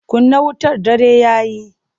Kunna wutar dare ya yi!